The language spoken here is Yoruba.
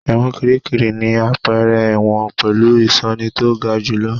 Ẹ̀wọ̀n Kìríkìrí ni àpẹẹrẹ ẹ̀wọ̀n pẹ̀lú ìṣọ́ni tó ga jù lọ.